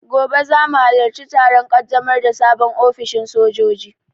Gobe zamu halarci taron ƙaddamar da sabon ofishin sojoji